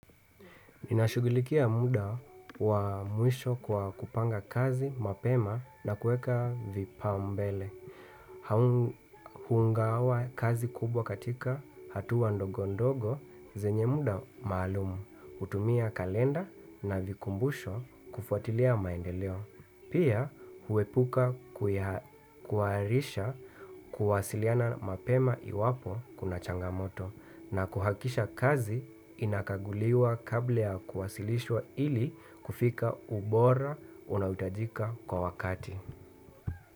Ninashughulikia muda wa mwisho kwa kupanga kazi mapema na kuweka vipaumbele. Kugawa kazi kubwa katika hatua ndogo ndogo zenye muda maalumu, kutumia kalenda na vikumbusho kufuatilia maendeleo. Pia kuepuka kuwaarisha kuwasiliana mapema iwapo kuna changamoto na kuhakisha kazi inakaguliwa kabla ya kuwasilishwa ili kufika ubora unaohitajika kwa wakati.